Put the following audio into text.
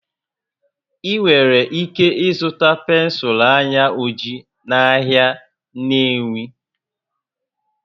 Ị nwere ike ịzụta pensụl anya ojii n'ahịa Nnewi